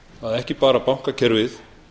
að ekki bara bankakerfið